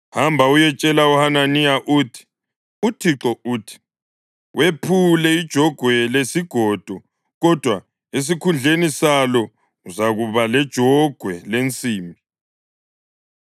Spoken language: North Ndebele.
“Hamba uyetshela uHananiya uthi, ‘ UThixo uthi: Wephule ijogwe lesigodo, kodwa esikhundleni salo uzakuba lejogwe lensimbi.